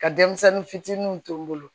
Ka denmisɛnnin fitininw to n bolo